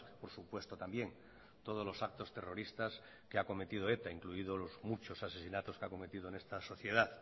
por supuesto también todos los actos terroristas que ha cometido eta incluido los muchos asesinatos que ha cometido en esta sociedad